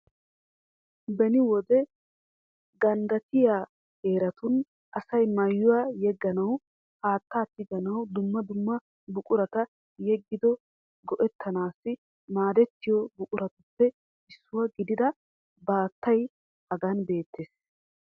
Beni wode ganddattiya heeratun asay maayuwa yegganawu, haattaa tiganawu dumma dumma buqurata yegido go'ettanaassi maadettiyo buquratuppe issuwa gidida baattay Hagan beettes.